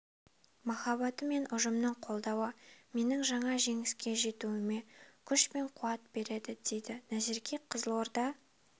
махаббаты мен ұжымның қолдауы менің жаңа жеңіске жетуіме күш пен қуат береді дейді назерке қызылорда